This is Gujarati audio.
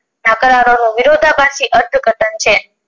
સંચે